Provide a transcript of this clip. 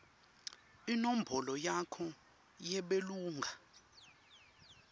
inombolo yakho yebulunga